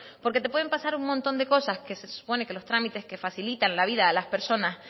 porque te pueden pasar un montón de cosas que se supone que los trámites que facilitan la vida a las personas